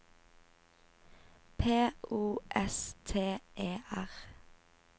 P O S T E R